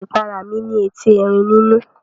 Ìpara mí ní etí Erin nínú.